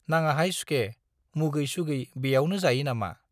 नाङाहाय सुखे, मुगै-सुगै बेयावनो जायो नामा?